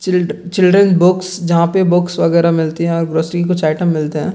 Children box जहां पे box वगेरा मिलती हैं यहां ग्रोसरी के कुछ आइटम मिलते हैं।